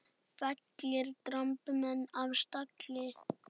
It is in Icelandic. Fellir dramb menn af stalli.